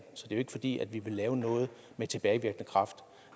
jo ikke fordi vi vil lave noget med tilbagevirkende kraft